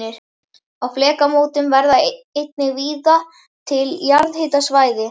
Á flekamótum verða einnig víða til jarðhitasvæði.